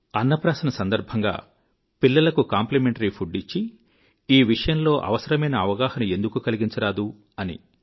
అన్నప్రాసన సందర్భంగా పిల్లలకు కాంప్లిమెంటరీ ఫుడ్ ఇచ్చి ఈ విషయంలో అవసరమైన ఎఱుక ఎందుకు కలిగించరాదు అని